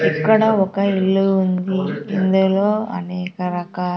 ఇక్కడ ఒక ఇల్లు ఉంది ఇందులో అనేక రకా.